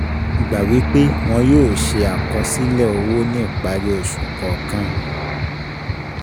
Gbà wí pé wọn yóò ṣe àkọsílẹ̀ owó ní ìparí oṣù kọ̀ọ̀kan